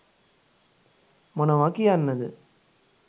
මොනවා කියන්න ද?